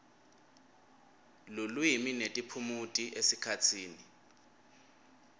lulwimi netiphumuti esikhatsini